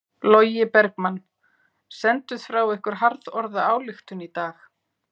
Logi Bergmann: Senduð frá ykkur harðorða ályktun í dag?